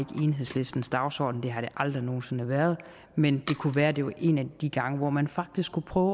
enhedslistens dagsorden det har det aldrig nogen sinde været men det kunne være at det var en af de gange hvor man faktisk skulle prøve